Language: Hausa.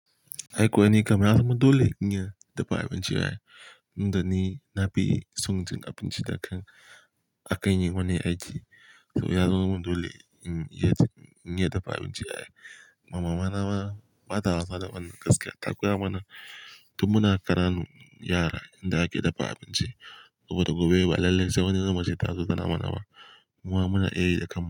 Ai kuwa nikan na zama dole, in iya dafa abinci ai. Inda ni na fi son abinci da kan akayi wane aji. To yazama min dole, in iya dafa abinci ai. Mama na ma, bata wasa da wannan gaskiya, ta koya mana. Tun muna karanun yara inda ake dafa abinci. Saboda gobe ba lallen sa wani zubin ce ta zo tana mana ba. Muma muna iyayi da kanmu.